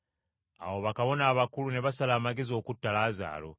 Awo bakabona abakulu ne basala amagezi okutta Laazaalo,